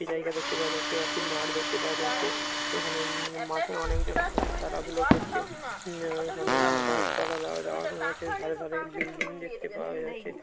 একটি জায়গা দেখতে পাওয়া যাচ্ছে আর একটি মাঠ দেখতে পাওয়া যাচ্ছেএখানে মাঠে উ-ম অনেকজন আছে খেলাধুলা করছে উ-উ-মা এখানে গাছ পালা যাওয়া আসা করছে ধারে ধারে বিল্ডিং দেখতে পাওয়া যা--